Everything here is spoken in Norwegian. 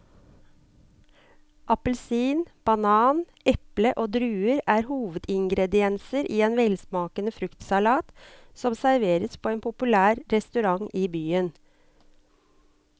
Appelsin, banan, eple og druer er hovedingredienser i en velsmakende fruktsalat som serveres på en populær restaurant i byen.